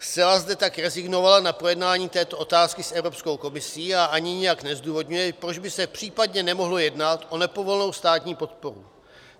Zcela zde tak rezignovala na projednání této otázky s Evropskou komisí a ani nijak nezdůvodňuje, proč by se případně nemohlo jednat o nepovolenou státní podporu.